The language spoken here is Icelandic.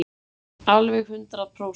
Alveg hundrað prósent.